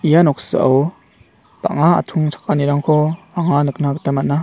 ia noksao bang·a atchongchakani rangko anga nikna gita man·a.